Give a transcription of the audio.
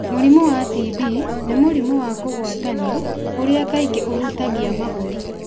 Mũrimũ wa TB nĩ mũrimũ wa kũgwatanio ũria kaingĩ ũhutagia mahũri.